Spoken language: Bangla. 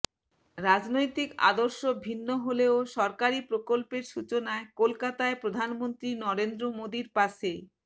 রাজনৈতিক আদর্শ ভিন্ন হলেও সরকারি প্রকল্পের সূচনায় কলকাতায় প্রধানমন্ত্রী নরেন্দ্র মোদীর পাশে